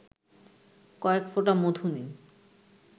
কয়েক ফোঁটা মধু নিন